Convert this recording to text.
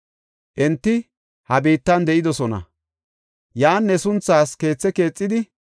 Enti ha biittan de7idosona; yan ne sunthaas keethe keexidi,